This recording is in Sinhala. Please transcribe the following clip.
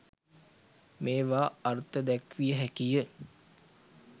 මේවා අර්ථ දැක්විය හැකිය.